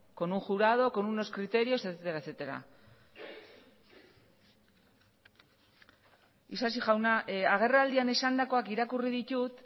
con un jurado con unos criterios etcétera isasi jauna agerraldian esandakoak irakurri ditut